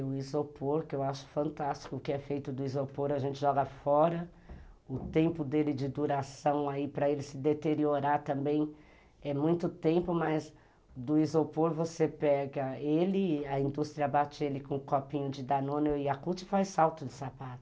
O isopor, que eu acho fantástico o que é feito do isopor, a gente joga fora, o tempo dele de duração aí para ele se deteriorar também é muito tempo, mas do isopor você pega ele, a indústria bate ele com um copinho de danone e yakult faz salto de sapato.